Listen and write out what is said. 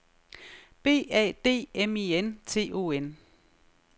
B A D M I N T O N